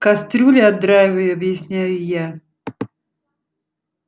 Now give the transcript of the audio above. кастрюли отдраиваю объясняю я